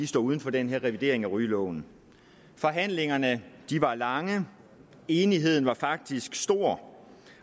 står uden for den her revidering af rygeloven forhandlingerne var lange men enigheden var faktisk stor